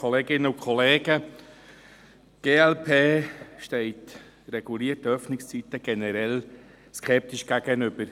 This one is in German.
Die glp steht regulierten Öffnungszeiten generell skeptisch gegenüber.